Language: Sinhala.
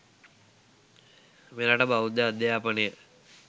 මෙරට බෞද්ධ අධ්‍යාපනය